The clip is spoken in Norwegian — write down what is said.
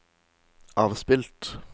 avspilt